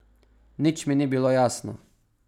Nič mi ni bilo jasno.